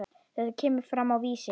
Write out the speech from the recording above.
Þetta kemur fram á Vísi.